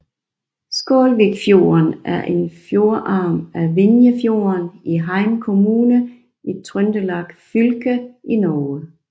Skålvikfjorden er en fjordarm af Vinjefjorden i Heim kommune i Trøndelag fylke i Norge